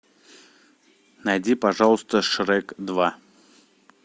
найди пожалуйста шрек два